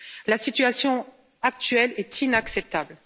La situation actuelle est inacceptable.